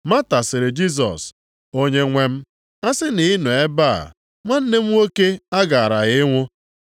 Mata sịrị Jisọs, “Onyenwe m, a sị na ị nọ nʼebe a, nwanne m nwoke agaraghị anwụ.